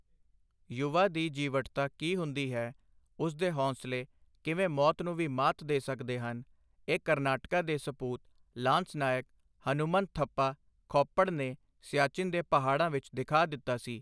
ਯੁਵਾ ਦੀ ਜੀਵਟਤਾ ਕੀ ਹੁੰਦੀ ਹੈ, ਉਸ ਦੇ ਹੌਸਲੇ ਕਿਵੇਂ ਮੌਤ ਨੂੰ ਵੀ ਮਾਤ ਦੇ ਸਕਦੇ ਹਨ, ਇਹ ਕਰਨਾਟਕਾ ਦੇ ਸਪੂਤ ਲਾਂਸ ਨਾਇਕ ਹਨੁਮਨ ਥੱਪਾ ਖੋੱਪੜ ਨੇ ਸਿਆਚਿਨ ਦੇ ਪਹਾੜਾਂ ਵਿੱਚ ਦਿਖਾ ਦਿੱਤਾ ਸੀ।